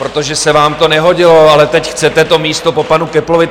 Protože se vám to nehodilo, ale teď chcete to místo po panu Köpplovi!